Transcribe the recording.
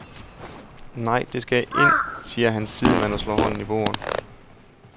Nej, det skal ind, siger hans sidemand og slår hånden i bordet.